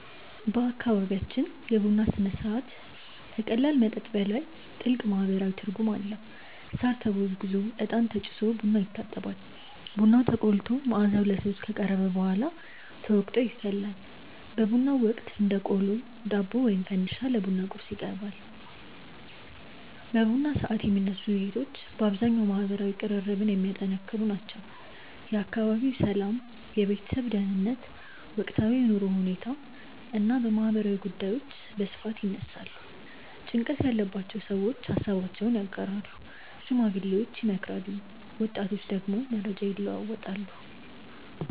በአካባቢያችን የቡና ሥነ ሥርዓት ከቀላል መጠጥ በላይ ጥልቅ ማህበራዊ ትርጉም አለው። ሳር ተጎዝጉዞ፣ እጣን ተጭሶ ቡናው ይታጠባል። ቡናው ተቆልቶ መዓዛው ለሰዎች ከቀረበ በኋላ ተወቅጦ ይፈላል። በቡናው ወቅት እንደ ቆሎ፣ ዳቦ ወይም ፈንዲሻ ለቡና ቁርስ ይቀርባል። በቡና ሰዓት የሚነሱ ውይይቶች በአብዛኛው ማህበራዊ ቅርርብን የሚያጠነክሩ ናቸው። የአካባቢው ሰላም፣ የቤተሰብ ደህንነት፣ ወቅታዊ የኑሮ ሁኔታ እና ማህበራዊ ጉዳዮች በስፋት ይነሳሉ። ጭንቀት ያለባቸው ሰዎች ሃሳባቸውን ያጋራሉ፣ ሽማግሌዎች ይመክራሉ፣ ወጣቶች ደግሞ መረጃ ይለዋወጣሉ።